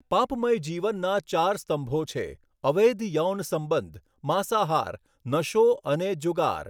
પાપમય જીવનના ચાર સ્તંભો છે, અવૈધ યૌન સંબંધ, માંસાહાર, નશો, અને જુગાર.